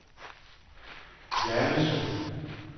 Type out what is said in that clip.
Hjallese